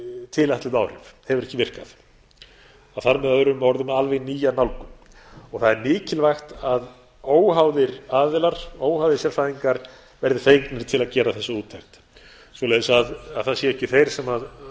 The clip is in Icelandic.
tilætluð áhrif hefur ekki virkað það þarf með öðrum orðum alveg nýja nálgun og það er mikilvægt að óháðir sérfræðingar verði gerðir til að gera þessa úttekt svo það séu ekki þeir sem